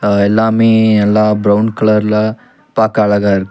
அ எல்லாமே எல்லா பிரவுன் கலர்ல பாக்க அழகா இருக்கு.